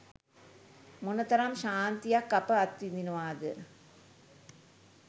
මොනතරම් ශාන්තියක් අප අත්විඳිනවාද?